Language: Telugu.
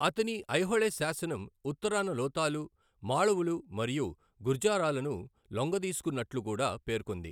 అతని ఐహోళే శాసనం ఉత్తరాన లోతాలు, మాళవులు మరియు గుర్జారాలను లొంగదీసుకున్నట్లు కూడా పేర్కొంది.